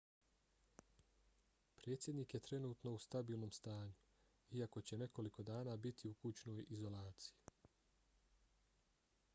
predsjednik je trenutno u stabilnom stanju iako će nekoliko dana biti u kućnoj izolaciji